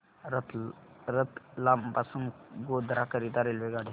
रतलाम पासून गोध्रा करीता रेल्वेगाड्या